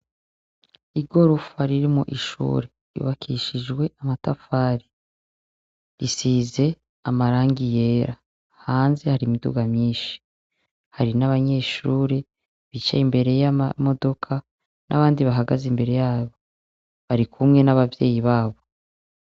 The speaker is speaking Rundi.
Igorofa ririmwo ishuri ryubakishijwe n'amatafari. Risize amarangi yera. Hanze hari imiduga myinshi. Hari n'abanyeshuri bicaye imbere y'amamodoka, n'abandi bahagaze imbere yabo. Barikumwe n'abavyeyi babo.